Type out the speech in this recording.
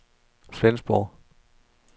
Flensborg